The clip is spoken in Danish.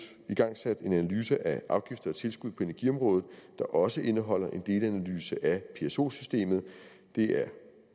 igangsat en analyse af afgifter og tilskud på energiområdet der også indeholder en delanalyse af pso systemet det er